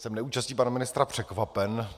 Jsem neúčastí pana ministra překvapen.